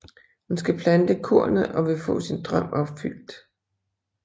Hun skal plante kornet og vil få sin drøm opfyldt